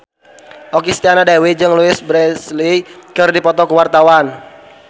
Okky Setiana Dewi jeung Louise Brealey keur dipoto ku wartawan